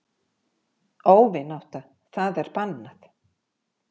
Óvinátta það er bannað.